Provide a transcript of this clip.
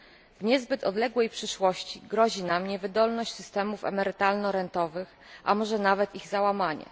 W niezbyt odległej przyszłości grozi nam niewydolność systemów emerytalno rentowych, a może nawet ich załamanie.